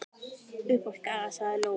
Upp á Skaga, sagði Lóa.